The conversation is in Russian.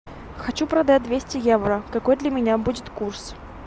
хочу продать двести евро какой для меня будет курс